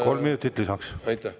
Kolm minutit lisaks.